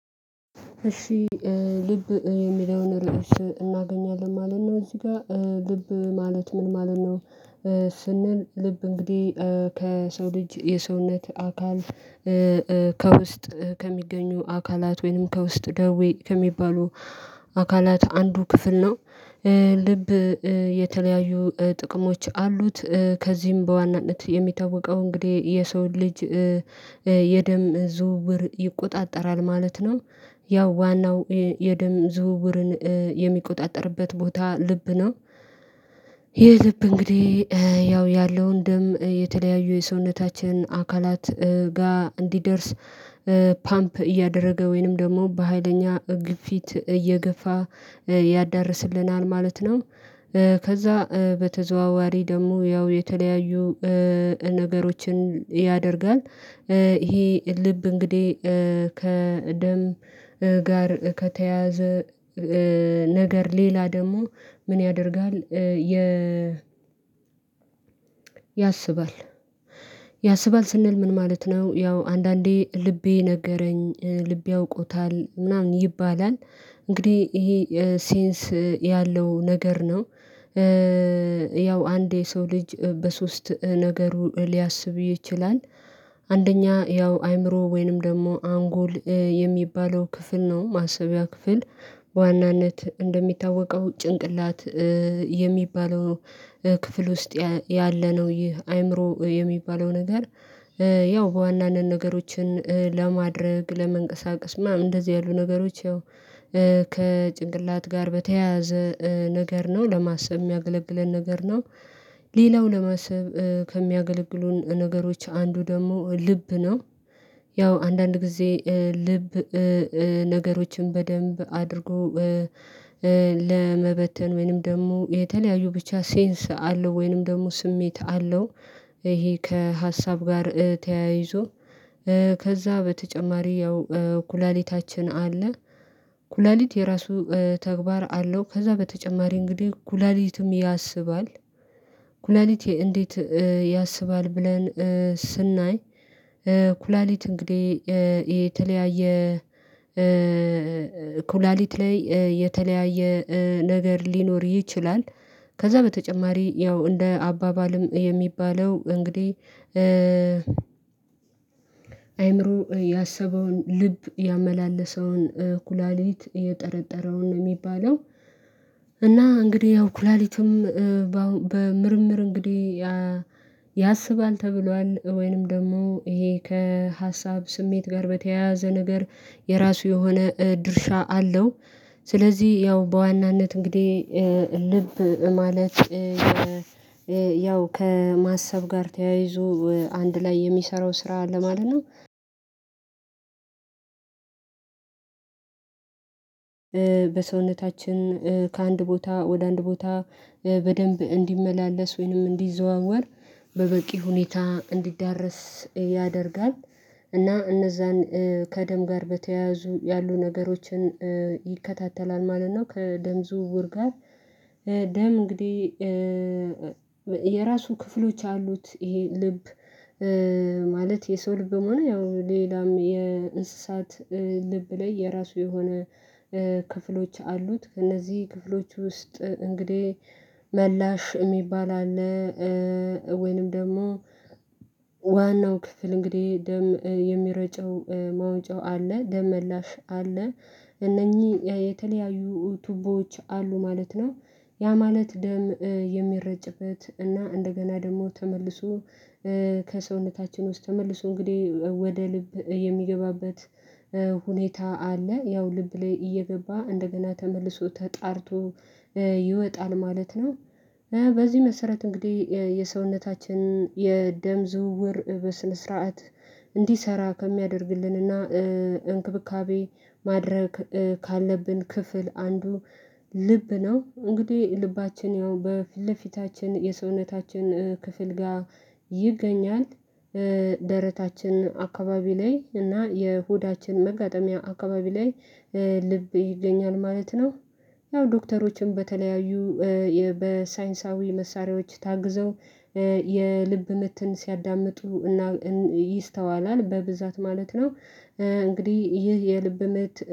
እሺ ልብ የሚለውን ርዕስ እናገኛለን ማለት ነው። እዚህ ጋር ልብ ማለት ምን ማለት ነው? ስንል ልብ እንግዲህ ከሰው ልጅ የሰውነት አካል ከውስጥ ከሚገኙ አካላት ወይንም ከውስጥ ደዌ ከሚባሉ አካላት አንዱ ክፍል ነው። ልብ የተለያዩ ጥቅሞች አሉት ከዚህም በዋናነት የሚታወቀው እንግዲህ የሰው ልጅ የደም ዝውውር ይቆጣጠራል ማለት ነው። ያው ዋናው የደም ዝውውርን የሚቆጣጠርበት ቦታ ልብ ነው። ይሄ ልብ እንግዲህ ያው ያለውን ደም የተለያዩ የሰውነታችን አካላት ጋር እንዲደርስ ፓምፕ እያደረገ ወይንም ደግሞ በሃይለኛ ግፊት እየገፋ ያዳርስልናል ማለት ነው። ከዛ በተዘዋዋሪ ደግሞ ያው የተለያዩ ነገሮችን ያደርጋል። ይሄ ልብ እንግዲህ ከደም ጋር ከተያያዘ ነገር ሌላ ደግሞ ምን ያደርጋል? የ ያስባል ያስባል ስንል ምን ማለት ነው ያው አንዳንዴ ልቤ ነገረኝ ልቤ አውቆታል ምናምን ይባላል እንግዲህ ይሄ ሴንስ ያለው ነገር ነው። ያው አንዴ የሰው ልጅ በሶስት ነገሩ ሊያስብ ይችላል። አንደኛ ያው አይምሮ ወይንም ደግሞ አንጎል የሚባለው ክፍል ነው ማሰቢያ ክፍል በዋናነት እንደሚታወቀው ጭንቅላት የሚባለው ክፍል ውስጥ ያለነው ይህ አይምሮ የሚባለው ነገር ያው በዋናነት ነገሮችን ለማድረግ ለመንቀሳቀስ ምናምን እንደዚህ ያሉ ነገሮች ያው ከጭንቅላት ጋር በተያያዘ ነገር ነው ለማሰብ የሚያገለግለን ነገር ነው። ሌላው ለማሰብ ከሚያገለግሉን ነገሮች አንዱ ደግሞ ልብ ነው። ያው አንዳንድ ጊዜ ልብ ነገሮችን በደንብ አድርጎ ለመበተን ወይንም ደግሞ የተለያዩ ብቻ ሴንስ አለው ወይንም ደግሞ ስሜት አለው። ይሄ ከሀሳብ ጋር ተያይዞ ከዛ በተጨማሪ ያው ኩላሊታችን አለ ኩላሊት የራሱ ተግባር አለው ከዛ በተጨማሪ እንግዲህ ኩላሊትም ያስባል። ኩላሊት እንዴት ያስባል? ብለን ስናይ ኩላሊት እንግዲህ የተለያየ ኩላሊት ላይ የተለያየ ነገር ሊኖር ይችላል። ከዛ በተጨማሪ ያው እንደ አባባልም የሚባለው እንግዲህ አይምሮ ያሰበውን ልብ ያመላለሰውን ኩላሊት የጠረጠረውን ነው የሚባለው። እና እንግዲህ ያው ኩላሊትም በምርምር እንግዲህ ያ ያስባል ተብሏል ወይንም ደግሞ ይሄ ከሀሳብ ስሜት ጋር በተያያዘ ነገር የራሱ የሆነ ድርሻ አለው። ስለዚህ ያው በዋናነት እንግዲህ ልብ ማለት ያው ከማሰብ ጋር ተያይዞ አንድ ላይ የሚሰራው ስራ ለማለት ነው። በሰውነታችን ከአንድ ቦታ ወደ አንድ ቦታ በደንብ እንዲመላለስ ወይንም እንዲዘዋወር በበቂ ሁኔታ እንዲዳረስ ያደርጋል። እና እነዛን ከደም ጋር በተያያዙ ያሉ ነገሮችን ይከታተላል ማለት ነው። ከደም ዝውውር ጋር ደም እንግዲህ የራሱ ክፍሎች አሉት ይሄ ልብ ማለት የሰው ልብ በመሆኑ ያው ሌላም የእንስሳት ልብ ላይ የራሱ የሆነ ክፍሎች አሉት። እነዚህ ክፍሎች ውስጥ እንግዲህ መላሽ የሚባል አለ ወይንም ደግሞ ዋናው ክፍል እንግዲህ ደም የሚረጨው ማውጫው አለ ደም መላሽ አለ እነኚህ የተለያዩ ቱቦዎች አሉ ማለት ነው። ያ ማለት ደም የሚረጭበት እና እንደገና ደግሞ ተመልሶ ከሰውነታችን ውስጥ ተመልሶ እንግዲህ ወደ ልብ የሚገባበት ሁኔታ አለ። ያው ልብ ላይ እየገባ እንደገና ተመልሶ ተጣርቶ ይወጣል ማለት ነው። በዚህ መሰረት እንግዲህ የሰውነታችን የደም ዝውውር በስነ ስርዓት እንዲሰራ ከሚያደርግልንና እንክብካቤ ማድረግ ካለብን ክፍል አንዱ ልብ ነው። እንግዲህ ልባችን ያው በፊት ለፊታችን የሰውነታችን ክፍል ጋር ይገኛል። ደረታችን አከባቢ ላይ እና የሆዳችን መጋጠሚያ አከባቢ ላይ ልብ ይገኛል ማለት ነው። ያው ዶክተሮችም በተለያዩ በሳይንሳዊ መሳሪያዎች ታግዘው የልብ ምትን ሲያዳምጡ ይስተዋላል በብዛት ማለት ነው እንግዲህ ይህ የልብ ምት